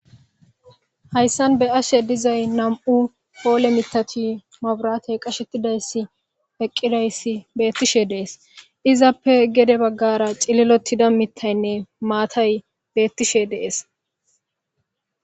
hayssan be ashe dizay nam7u poole mitati maburatey qashettidayssi peqqidayssi beettishe dees izappe gede baggara cililotida mittaynne maatay beettishe dees